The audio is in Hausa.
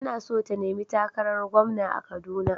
Tana so ta nemi takarar gwamna a kaduna.